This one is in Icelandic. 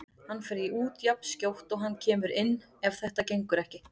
Hann fer út jafnskjótt og hann kemur inn ef þetta gengur ekki.